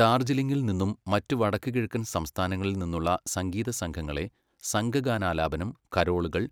ഡാർജിലിംഗിൽ നിന്നും മറ്റ് വടക്കുകിഴക്കൻ സംസ്ഥാനങ്ങളിൽ നിന്നുള്ള സംഗീതസംഘങ്ങളെ സംഘഗാനാലാപനം, കരോളുകൾ,